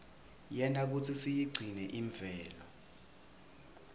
yenta kutsi siyigcine imvelo